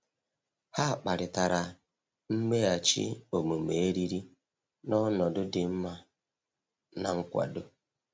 Ha kparịtara mmeghachi omume eriri n’ọnọdụ dị mma na nkwado.